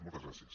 moltes gràcies